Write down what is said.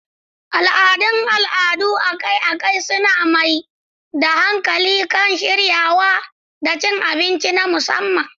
Al'adun al'adu akai-akai suna mai da hankali kan shiryawa da cin abinci na musamman.